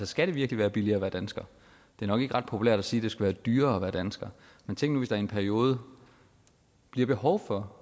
skal det virkelig være billigere at være dansker det er nok ikke ret populært at sige det skal være dyrere at være dansker men tænk nu i en periode bliver behov for